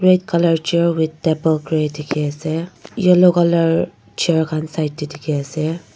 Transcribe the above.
red colour chair with table grey dikhiase yellow colour chair khan side tae dikhiase.